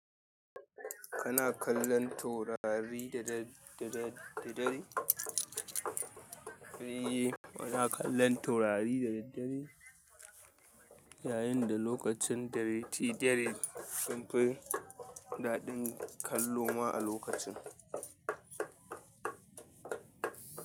Kana kallon taurari da daddare? Eh, muna kallon taurari da daddare. Yayin da lokacin dare, shi dare sun fi daɗin kallo ma a lokacin.